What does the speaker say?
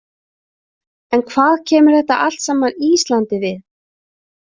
En hvað kemur þetta allt saman Íslandi við?